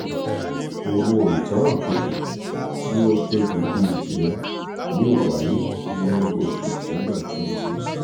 owó ìtanràn kejì tí ó tóbi bíi tirẹ̀ yóò wáyé ní yóò wáyé ní oṣù december twenty sixteen.